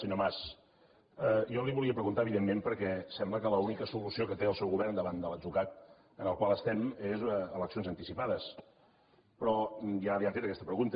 senyor mas jo li ho volia preguntar evidentment perquè sembla que l’única solució que té el seu govern davant de l’atzucac en el qual estem és eleccions anticipades però ja li han fet aquesta pregunta